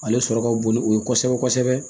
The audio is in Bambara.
Ale sɔrɔ ka bon ni o ye kosɛbɛ kosɛbɛ